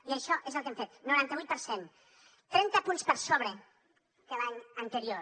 i això és el que hem fet noranta vuit per cent trenta punts per sobre que l’any anterior